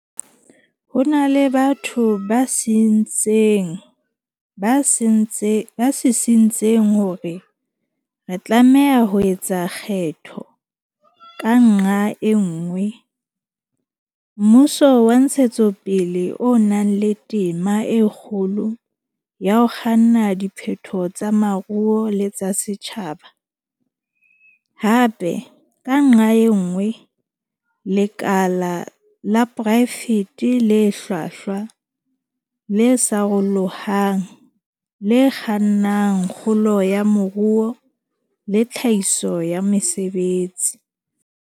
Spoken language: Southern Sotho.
Ho na le batho ba sisintseng hore re tlameha ho etsa kgetho, ka nqa e nngwe, mmuso wa ntshetsopele o nang le tema e kgolo ya ho kganna diphetoho tsa moruo le tsa setjhaba, hape, ka nqa e nngwe, lekala la poraefete le hlwahlwa, le sarolohang, le kgannang kgolo ya moruo le tlhahiso ya mesebetsi.